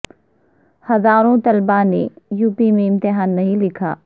his ا روں طلباء نے یو پی میں امتحا ن نہیں لکھا